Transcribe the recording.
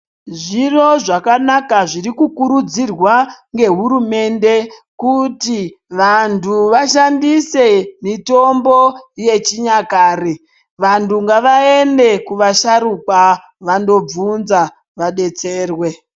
Zviro zvakanaka zviri kukurudzirwa ngehurumende kuti vantu vashandise mitombo yechinyakare vantu ngavaende kuvasharukwa vandobvunza vadetserwe.